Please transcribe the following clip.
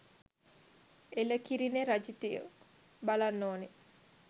එලකිරිනෙ රජිතයෝ.බලන්න ඕනි